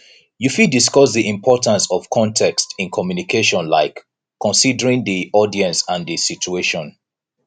you fit discuss di importance of context in communication like considering di audience and di situation